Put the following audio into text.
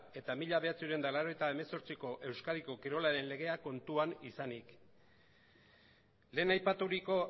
eta mila bederatziehun eta laurogeita hemezortziko euskadiko kirolaren legea kontuan izanik lehen aipaturiko